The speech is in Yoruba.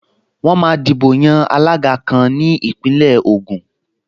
Wọ́n máa dìbò yan alága kan ní Ìpínlẹ̀ Ògùn